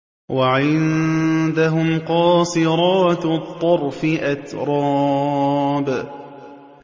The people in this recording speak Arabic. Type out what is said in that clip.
۞ وَعِندَهُمْ قَاصِرَاتُ الطَّرْفِ أَتْرَابٌ